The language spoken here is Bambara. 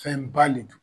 Fɛn ba de don